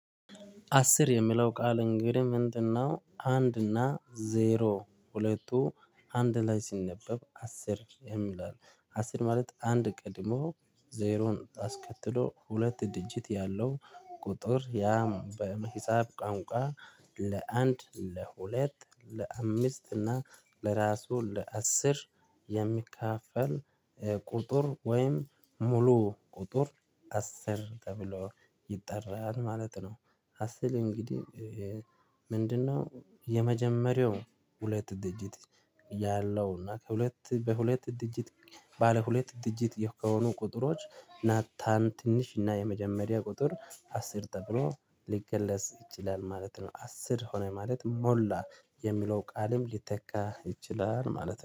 አስር የምለው ቃል፣ እንግዲህ ምንድነው? አንድ እና ዜሮ ሁለቱ አንድ ላይ ሲነበብ “አስር” የምለው ነው። አስር ማለት አንድ ቀድሞ፣ ዜሮን አስከትሎ፣ ሁለት ዲጂት ያለው ቁጥር ነው። ያ በሂሳብ ቋንቋ ለአንድ፣ ለሁለት፣ ለአምስት እና ለራሱ ለአስር የሚከፋፈል ኤ ቁጥር ወይም ሙሉ ቁጥር አስር ተብሎ ይጠራል ማለት ነው። አስር እንግዲህ ምንድነው? የመጀመሪያው ሁለት ዲጂት ያለው እና ከሁለት በሁለት ዲጂት፣ ባለ ሁለት ዲጂት የሆኑ ቁጥሮች ናቸው። ትንሹ እና የመጀመሪያ ቁጥር አስር ደግሞ ሊገለጽ ይችላል ማለት ነው። አስር ሆነ ማለት፣ “ሙሉ” የሚለው ቃልም ሊተካ ይችላል ማለት ነው።